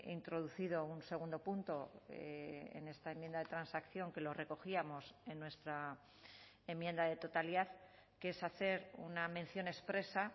introducido un segundo punto en esta enmienda de transacción que lo recogíamos en nuestra enmienda de totalidad que es hacer una mención expresa